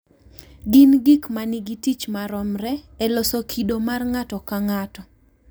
Gin gik ma nigi tich maromre e loso kido mar ng’ato ka ng’ato.